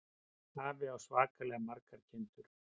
Afi á svakalega margar kindur.